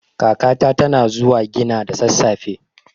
Kakata tana zuwa gina da sassafe.